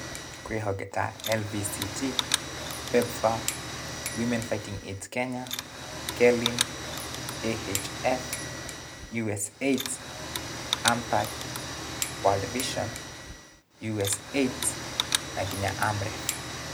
Kwĩ honge ta, LVCT, PEPFAR, Women Fighting AIDS kenya, KELIN, AHF, USAIDS, NEPHAK, WORLD VISION, USAIDS, na kenya AMREF.